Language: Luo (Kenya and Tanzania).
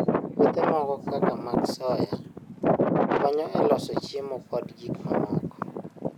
Puothe moko kaka mag soya, konyo e loso chiemo kod gik mamoko.